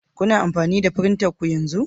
Kuna tare da firintanku yanzu?